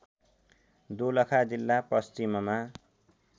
दोलखा जिल्ला पश्चिममा